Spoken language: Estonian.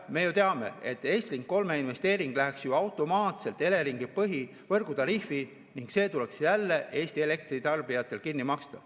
Me ju teame, et Estlink 3 investeering läheks automaatselt Eleringi põhivõrgutariifi ning see tuleks jälle Eesti elektritarbijatel kinni maksta.